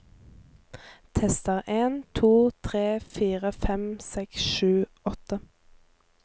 Tester en to tre fire fem seks sju åtte